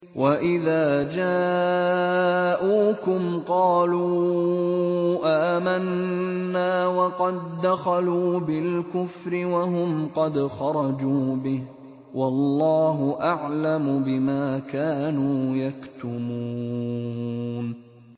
وَإِذَا جَاءُوكُمْ قَالُوا آمَنَّا وَقَد دَّخَلُوا بِالْكُفْرِ وَهُمْ قَدْ خَرَجُوا بِهِ ۚ وَاللَّهُ أَعْلَمُ بِمَا كَانُوا يَكْتُمُونَ